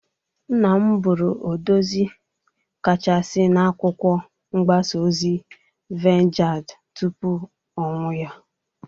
Nna m bụrụ odezi kachasị na akwụkwọ mgbasa ozi Vangad tupu ọnwụ ya.